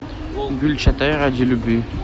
гюльчатай ради любви